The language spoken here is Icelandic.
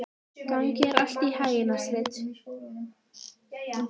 Gangi þér allt í haginn, Astrid.